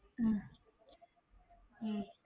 உம் உம்